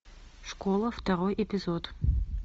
школа второй эпизод